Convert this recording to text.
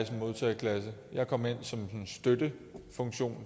modtageklasse jeg kom ind som